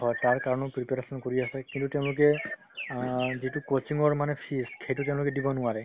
হয় তাৰ কাৰণেও preparation কৰি আছে কিন্তু তেওঁলোকে অ যিটো coaching মানে fees সেইটো তেওঁলোকে দিব নোৱাৰে